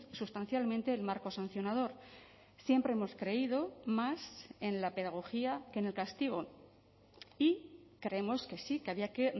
sustancialmente el marco sancionador siempre hemos creído más en la pedagogía que en el castigo y creemos que sí que había que